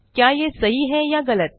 क्या ये सही है या गलत160